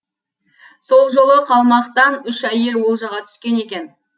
сол жолы қалмақтан үш әйел олжаға түскен екен